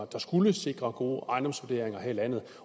der skulle sikre gode ejendomsvurderinger her i landet